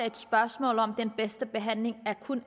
et spørgsmål om den bedste behandling